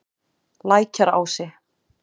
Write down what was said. Lækjarási